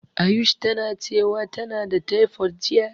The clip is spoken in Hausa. Ayush tana cewa tana da tefod jiya.